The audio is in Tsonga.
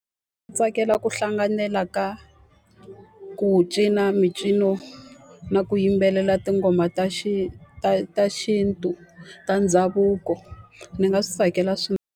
Tsakela ku hlanganela ka ku cina mincino na ku yimbelela tinghoma ta ta ta xintu, ta ndhavuko. Ni nga swi tsakela .